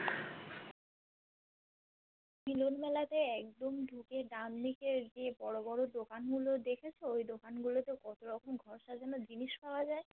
মিলন মেলাতে একদম ঢুকে দানদিগের যে বড়ো বড়ো দোকান গুলো দেখেছো ওই দোকানগুলো তে কতো রকম ঘর সাজানোর জিনিস পাওয়া যায়